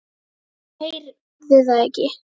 Hún heyrði það ekki.